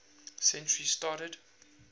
century started